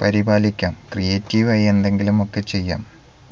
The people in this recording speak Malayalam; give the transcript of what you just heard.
പരിപാലിക്കാം creative ആയി എന്തെങ്കിലുമൊക്കെ ചെയ്യാം